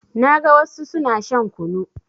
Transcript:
Na ga wassu suna shan kunu